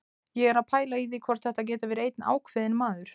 Ég er að pæla í því hvort þetta geti verið einn ákveðinn maður.